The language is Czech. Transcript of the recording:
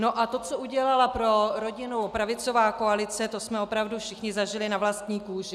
No a to, co udělala pro rodinu pravicová koalice, to jsme opravdu všichni zažili na vlastní kůži.